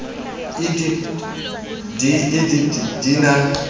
idp di idp di na